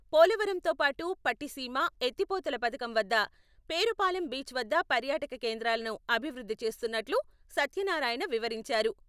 పోలవరంతో పాటు పట్టిసీమ, ఎత్తిపోతల పధకం వద్ద, పేరుపాలెం బీచ్ వద్ద పర్యాటక కేంద్రాలను అభివృద్ధి చేస్తున్నట్లు సత్యనారాయణ వివరించారు.